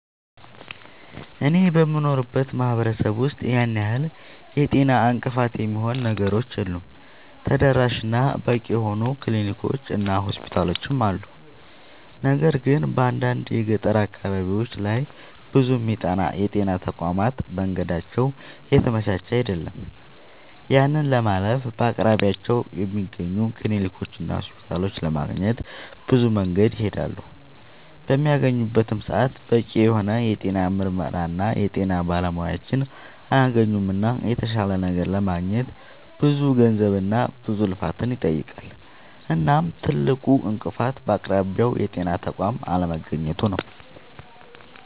አኔ በምኖርበት ማህበረሰብ ውስጥ ያን ያህል የጤና እንቅፋት የሚሆኑ ነገሮች የሉም ተደራሽ እና በቂ የሆኑ ክሊኒኮች እና ሆስፒታሎችም አሉ። ነገር ግን በአንዳንድ የገጠር አካባቢዎች ላይ ብዙ የጤና ተቋማት መንገዳቸው የተመቻቸ አይደለም። ያንን ለማለፍ በአቅራቢያቸው በሚገኙ ክሊኒኮችና ሆስፒታሎች ለማግኘት ብዙ መንገድን ይሄዳሉ። በሚያገኙበትም ሰዓት በቂ የሆነ የጤና ምርመራና የጤና ባለሙያዎችን አያገኙምና የተሻለ ነገር ለማግኘት ብዙ ገንዘብና ብዙ ልፋትን ይጠይቃል። እናም ትልቁ እንቅፋት በአቅራቢያው የጤና ተቋም አለማግኘቱ ነዉ